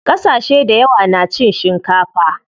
Ƙasashe dayawa na cin shikafa.